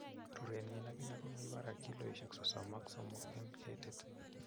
Rurenyin ak ine kobo barak. Kilosiek sosom ok somok en ketit